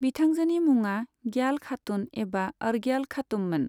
बिथांजोनि मुङा ग्याल खातून एबा अर्ग्याल खातूममोन।